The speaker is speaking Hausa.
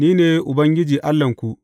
Ni ne Ubangiji Allahnku.